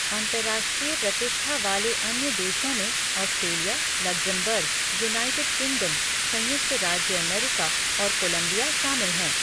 अंतर्राष्ट्रीय प्रतिष्ठा वाले अन्य देशों में ऑस्ट्रेलिया, लक्ज़मबर्ग, यूनाइटेड किंगडम, संयुक्त राज्य अमेरिका और कोलंबिया शामिल हैं।